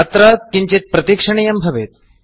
अत्र किञ्चित् प्रतीक्षणीयं भवेत्